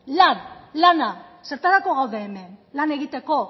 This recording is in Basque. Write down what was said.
lan lana zertarako gaude hemen lan egiteko